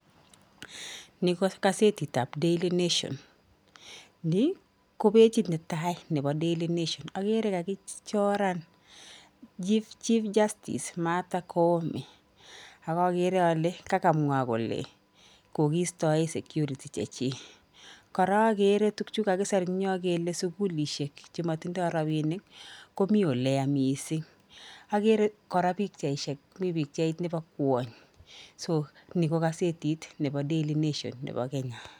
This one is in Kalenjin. Ni ko gazetitab Daily Nation, ni ko pechit ne tai ne bo Daily Nation, akere kakichoran chief justice Mather Koome, ak akere ale kakamwa kole kokiistoe security che chii, kora akere tukchu kakiser eng nyoo kele sukulishek chematindoi rabiinik komi ole ya mising, akere kora pikchaisiek mi pikchait nebo kwony so ni ko gazetit nebo Daily Nation nebo Kenya.